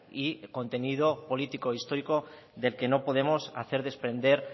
y contenido político histórico del que no podemos hacer desprender